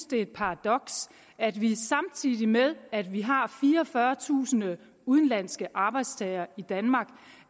det er et paradoks at vi samtidig med at vi har fireogfyrretusind udenlandske arbejdstagere i danmark